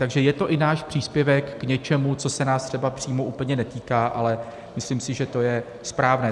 Takže je to i náš příspěvek k něčemu, co se nás třeba přímo úplně netýká, ale myslím si, že to je správné.